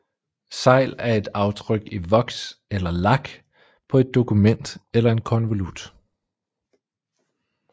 Segl er et aftryk i voks eller lak på et dokument eller en konvolut